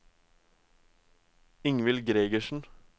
Ingvild Gregersen